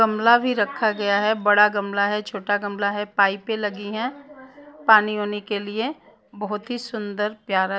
गमला भी रखा गया हैबड़ा गमला है छोटा गमला है पाइपें लगी हैं पानी वानी के लिए बहुत ही सुंदर प्यारा --